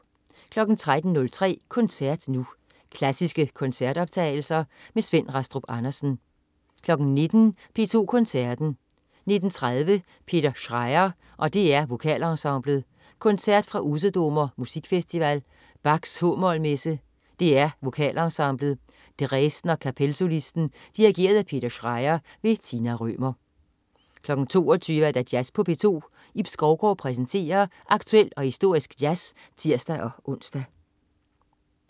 13.03 Koncert Nu. Klassiske koncertoptagelser. Svend Rastrup Andersen 19.00 P2 Koncerten. 19.30 Peter Schreier og DR Vokalensemblet. Koncert fra Usedomer Musikfestival. Bach: h-mol messe. DR Vokalensemblet. Dresdener Kapellsolisten. Dirigent: Peter Schreier. Tina Rømer 22.00 Jazz på P2. Ib Skovgaard præsenterer aktuel og historisk jazz (tirs-ons)